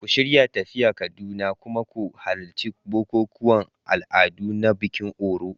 Ku shirya tafiya Kaduna, kuma ku halarci bukukuwan al'adu na bikin Òrò.